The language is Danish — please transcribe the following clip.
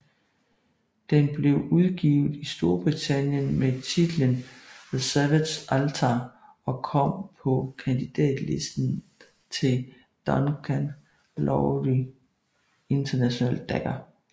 Den blev udgivet i Storbritannien med titlen The Savage Altar og kom på kandidatlisten til Duncan Lawrie International Dagger